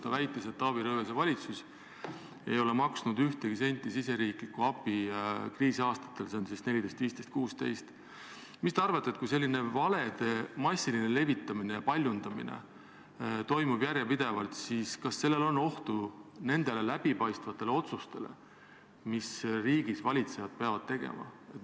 Ta väitis, et Taavi Rõivase valitsus ei ole maksnud ühtegi senti riigisisest abi kriisiaastatel 2014, 2015 ja 2016. Mis te arvate, kui selline valede massiline levitamine ja paljundamine toimub järjepidevalt, siis kas sellel on ohtu nendele läbipaistvatele otsustele, mida riigivalitsejad peavad tegema?